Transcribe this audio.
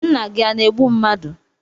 Nna gi a na-egbu mmadu?